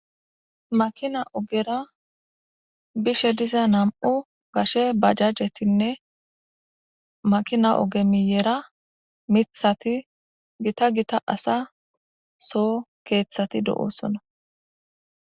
Makina ogera bishe diza nam'u gashe bajajjetinne makina oge miyera mithati gita gita asa so keeththati do'oosona.